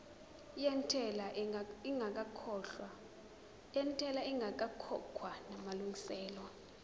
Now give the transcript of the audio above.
yentela ingakakhokhwa namalungiselo